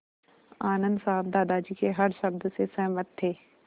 आनन्द साहब दादाजी के हर शब्द से सहमत थे